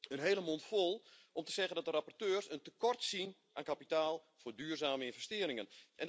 Een hele mondvol om te zeggen dat de rapporteurs een tekort zien aan kapitaal voor duurzame investeringen.